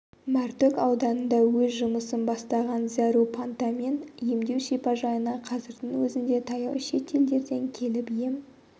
мәртөк ауданында өз жұмысын бастаған зәру пантамен емдеу шипажайына қазірдің өзінде таяу шет елдерден келіп ем